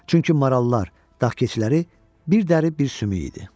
Çünki marallar, dağ keçiləri bir dəri, bir sümük idi.